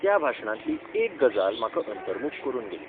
त्या भाशणांतली एक गजाल म्हाका अंतर्मुख करून गेली.